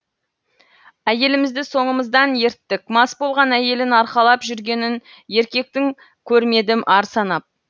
әйелімізді соңымыздан ерттік мас болған әйелін арқалап жүргенін еркектің көрмедім ар санап